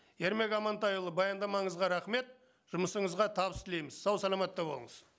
ермек амантайұлы баяндамаңызға рахмет жұмысыңызға табыс тілейміз сау саламатты болыңыз